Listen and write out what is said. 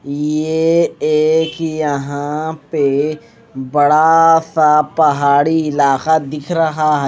ये एक यहां पे बड़ा सा पहाड़ी इलाका दिख रहा है।